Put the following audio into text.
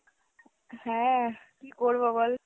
হ্যাঁ কী করবো বল।